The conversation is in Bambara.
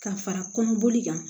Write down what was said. Ka fara kɔnɔboli kan